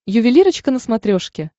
ювелирочка на смотрешке